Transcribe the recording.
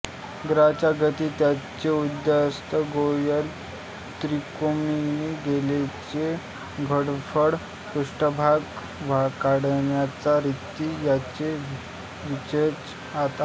ग्रहांच्या गती त्यांचे उदयास्त गोलीय त्रिकोणमिती गोलाचे घनफळ पृष्ठभाग काढण्याच्या रिती यांचे विवेचन यात आहे